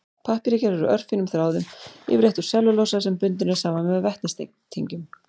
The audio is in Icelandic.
Pappír er gerður úr örfínum þráðum, yfirleitt úr sellulósa sem bundinn er saman með vetnistengjum.